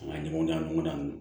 A ɲɔgɔnna ɲɔgɔn dan don